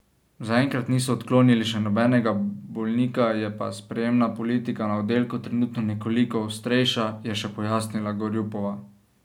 Zaenkrat niso odklonili še nobenega bolnika, je pa sprejemna politika na oddelku trenutno nekoliko ostrejša, je še pojasnila Gorjupova.